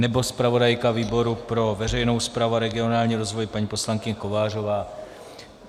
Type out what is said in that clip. Nebo zpravodajka výboru pro veřejnou správu a regionální rozvoj paní poslankyně Kovářová?